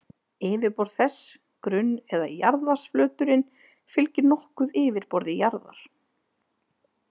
Yfirborð þess, grunn- eða jarðvatnsflöturinn, fylgir nokkuð yfirborði jarðar.